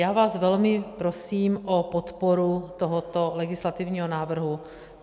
Já vás velmi prosím o podporu tohoto legislativního návrhu.